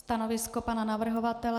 Stanovisko pana navrhovatele?